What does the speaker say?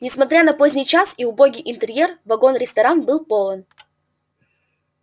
несмотря на поздний час и убогий интерьер вагон-ресторан был полон